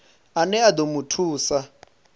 ane a ḓo mu thusa